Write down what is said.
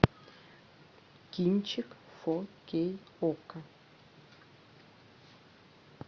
кинчик фо кей окко